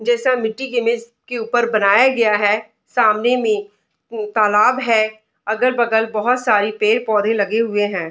जैसा मिट्टी के इमेज के ऊपर बनाया गया है सामने में उ तालाब है अगल-बगल बोहोत सारे पेड़-पौधे लगे हुए है।